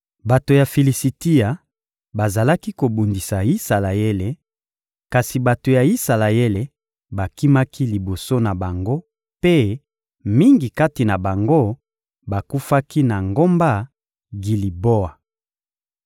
Bato ya Filisitia bazalaki kobundisa Isalaele, kasi bato ya Isalaele bakimaki liboso na bango mpe mingi kati na bango bakufaki na ngomba Giliboa.